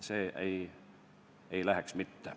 See ei läheks mitte.